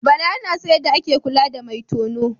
Bala ya san yadda ake kula da mai tono.